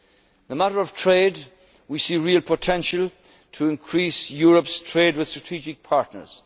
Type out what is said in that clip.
Iran, Mali and Somalia. On the matter of trade, we see real potential to increase Europe's trade with